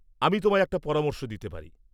আমি তোমায় একটা পরামর্শ দিতে পারি।